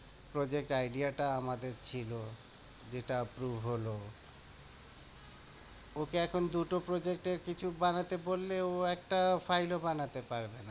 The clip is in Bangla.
Project idea টা আমার ছিল, যেটা approve হলো ওকে এখন দুটো project এর কিছু বানাতে বললে ও একটাও file ও বানাতে পারবে না।